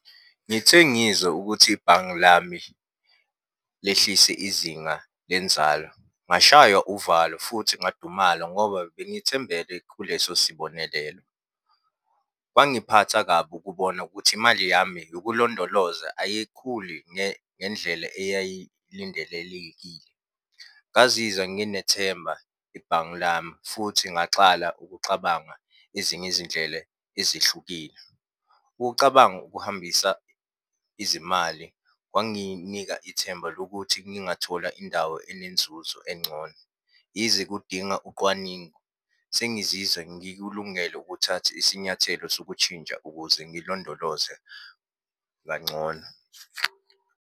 Ngithe ngizwa ukuthi ibhange lami lehlise izinga lenzalo, ngashaywa uvalo futhi ngadumala ngoba bengithembele kuleso sibonelelo. Kwangiphatha kabi ukubona ukuthi imali yami yokulondoloza ayikhuli ngendlela eyayilindelelekile. Ngazizwa nginethemba ibhange lami futhi ngaxala ukuxabanga ezinye izindlela ezihlukile. Ukucabanga ukuhambisa izimali kwanginika ithemba lokuthi ngingathola indawo enenzuzo engcono. Yize kudinga uqwaningo sengizizwa ngikulungele ukuthatha isinyathelo sokutshintsha ukuze ngilondoloze kangcono.